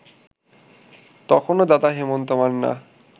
তখনও দাদা হেমন্ত মান্না